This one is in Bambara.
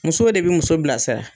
Musow de bɛ muso bilasira